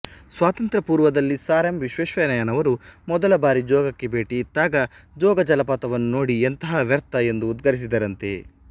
ಸ್ವಾತಂತ್ರಪೂರ್ವದಲ್ಲಿ sir M ವಿಶ್ವೇಶ್ವರಯ್ಯನವರು ಮೊದಲ ಬಾರಿ ಜೋಗಕ್ಕೆ ಭೇಟಿಯಿತ್ತಾಗ ಜೋಗ ಜಲಪಾತವನ್ನು ನೋಡಿ ಎಂತಹ ವ್ಯರ್ಥ ಎಂದು ಉದ್ಗರಿಸಿದರಂತೆ